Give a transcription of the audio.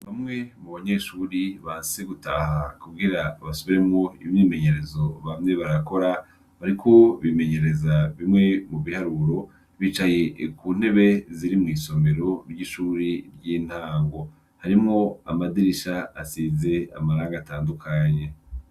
Bamwe mu banyeshuri banse gutaha kugira basubiremwo imyimenyerezo bamye barakora, bariko bimenyereza bimwe mu biharuro, bicaye ku ntebe ziri mw'isomero ry'ishuri ry'intango, harimwo amadirisha asize amarangi atandukanye.